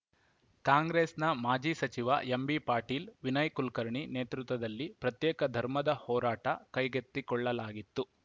ಕಾಂಗ್ರೆಸ್‌ನ ಮಾಜಿ ಸಚಿವ ಎಂಬಿ ಪಾಟೀಲ್‌ ವಿನಯ್‌ ಕುಲಕರ್ಣಿ ನೇತೃತ್ವದಲ್ಲಿ ಪ್ರತ್ಯೇಕ ಧರ್ಮದ ಹೋರಾಟ ಕೈಗೆತ್ತಿಕೊಳ್ಳಲಾಗಿತ್ತು